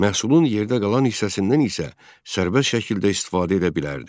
Məhsulun yerdə qalan hissəsindən isə sərbəst şəkildə istifadə edə bilərdi.